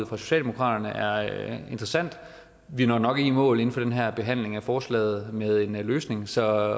fra socialdemokraterne er interessant vi når nok ikke i mål i den her behandling af forslaget med en løsning så